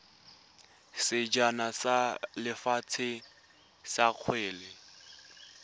sejana sa lefatshe sa kgwele